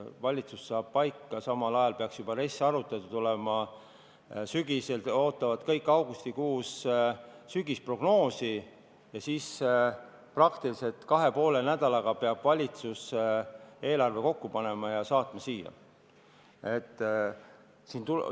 Valitsus saab paika, samal ajal peaks juba RES arutatud olema, augustikuus ootavad kõik sügisprognoosi ning kahe ja poole nädalaga peab valitsus eelarve kokku panema ja siia saatma.